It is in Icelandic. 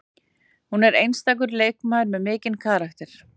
Hún er einstakur leikmaður með mikinn karakter